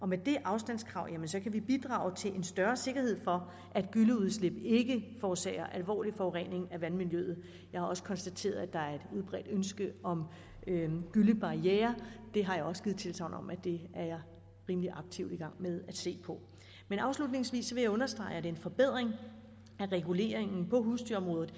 med det afstandskrav kan vi bidrage til en større sikkerhed for at gylleudslip ikke forårsager alvorlig forurening af vandmiljøet jeg har også konstateret at der er et udbredt ønske om gyllebarrierer jeg har også givet tilsagn om at det er jeg rimelig aktivt i gang med at se på men afslutningsvis vil jeg understrege at det er en forbedring at reguleringen på husdyrområdet